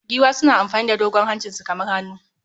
Giwa suna amfani da dogon hancinsu kamar hannu